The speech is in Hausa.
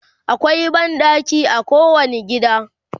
akwai banɗaki a kowani gida